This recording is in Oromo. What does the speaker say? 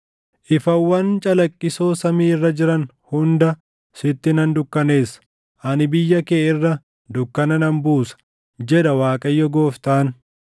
Ifawwan calaqqisoo samii irra jiran hunda sitti nan dukkaneessa; ani biyya kee irra dukkana nan buusa, jedha Waaqayyo Gooftaan.